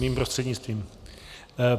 Mým prostřednictvím.